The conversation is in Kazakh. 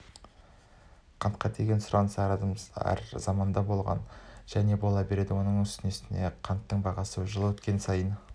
қантқа деген сұраныс әр заманда болған және бола береді оның үстіне қанттың бағасы жыл өткен сайын